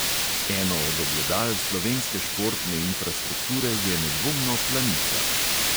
Eno od ogledal slovenske športne infrastrukture je nedvomno planica.